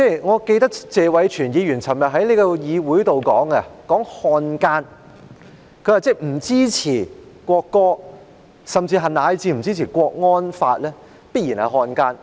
我記得謝偉銓議員昨天在議會上提到漢奸，他說不支持《國歌條例草案》，甚至是不支持國安法的，必然就是漢奸。